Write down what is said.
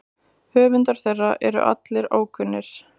Höfundar þeirra allra eru ókunnir.